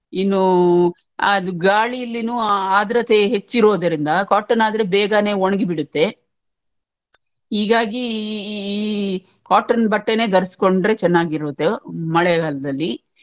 ಇನ್ನೂ ಅದು ಗಾಳಿಯಲ್ಲಿನೂ ಆದ್ರತೆ ಹೆಚ್ಚಿರೋದರಿಂದ cotton ಆದ್ರೆ ಬೇಗನೆ ಒಳಗಿ ಬಿಡುತ್ತೆ ಹೀಗಾಗಿ ಈ cotton ಬಟ್ಟೆನೆ ಧರ್ಸ್ಕೊಂಡ್ರೆ ಚನ್ನಾಗಿರುದು ಮಳೆಗಾಲದಲ್ಲಿ.